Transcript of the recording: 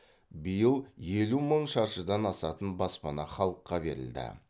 биыл елу мың шаршыдан асатын баспана халыққа берілді